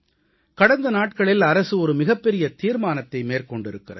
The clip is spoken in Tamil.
கடந்த நாட்களில் அரசு ஒரு மிகப்பெரிய தீர்மானத்தை மேற்கொண்டிருக்கிறது